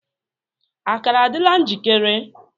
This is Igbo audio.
Akara adịla njikere?